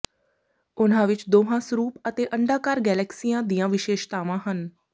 ਉਨ੍ਹਾਂ ਵਿਚ ਦੋਹਾਂ ਸਰੂਪ ਅਤੇ ਅੰਡਾਕਾਰ ਗਲੈਕਸੀਆਂ ਦੀਆਂ ਵਿਸ਼ੇਸ਼ਤਾਵਾਂ ਹਨ